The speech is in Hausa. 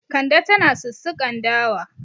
Kande tana sussukan dawa.